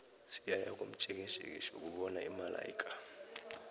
siyaya komjekejeke siyokubona imalaika